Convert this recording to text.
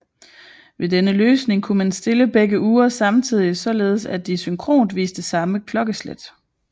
Ved denne løsning kunne man stille begge ure samtidigt således at de synkront viste samme klokkeslæt